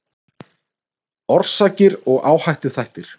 Orsakir og áhættuþættir